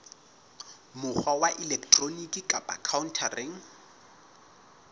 mokgwa wa elektroniki kapa khaontareng